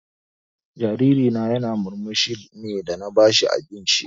Jariri na ya na murmushi ne dan na ba shi abinci